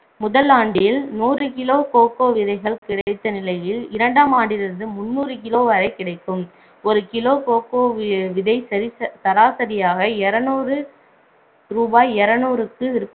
முதல் ஆண்டில் நூறு kilo கோகோ விதைகள் கிடைத்த நிலையில் இரண்டாம் ஆண்டிலிருந்து முந்நூறு kilo வரை கிடைக்கும் ஒரு கிலோ கோகோ விதை சரி~ சராசரியாக இருநூறு ரூபாய் இருநூறுக்கு